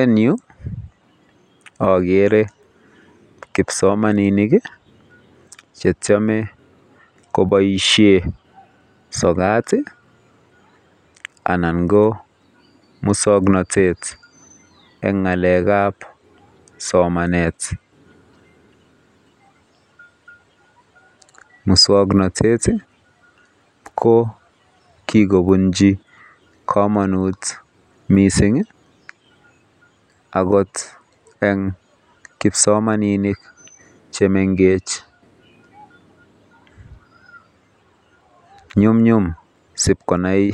En yu akere kipsomaninik chetyeme koboishen sokat ana ko muswoknotet en ngalekab somanet. Muswoknotet ii ko kikobunchi komonut missing akot en kipsomaninik chemengech nyumnyum sipkonai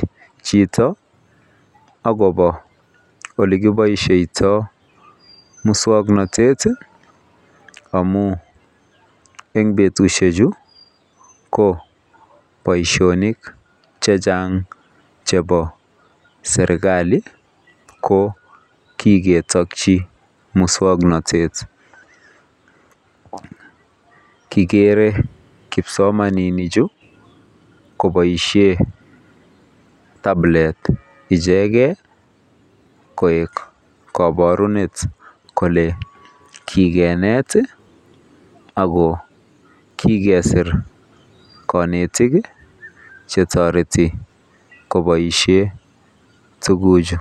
jito akopa ole kiboishoito muswoknotet amun en betushek chuu ko boishonik chechang chepo serikali ko kiketokyi muswoknotet. Kikere kipsomaninik chuu koboishen kabilet icheket koik koborunet kole kikinet ako kikesir konetik chetoreti koboishen tukuchu.